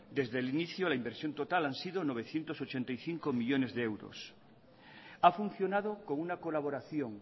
desde el inicio la inversión total han sido novecientos ochenta y cinco millónes de euros ha funcionado con una colaboración